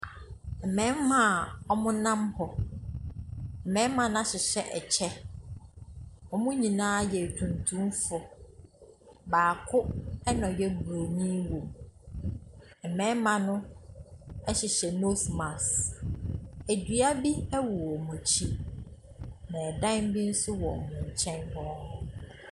Mmɛma a w'ɔmo nnam hɔ, mmɛma no ahyehyɛ ɛkyɛ. Wɔnmo nyinaa yɛ atuntumfo, baako ɛna ɔyɛ Obroni wɔmu. Mmɛma no ɛhyehyɛ nose mask. Edua bi ɛwɔ wɔmmo akyi, na ɛdan bi nso wɔ wɔn nkyɛn hɔ a.